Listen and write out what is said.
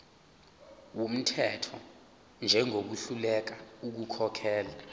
wumthetho njengohluleka ukukhokhela